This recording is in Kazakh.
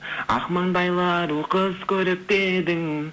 ақ маңдайлы ару қыз көрікті едің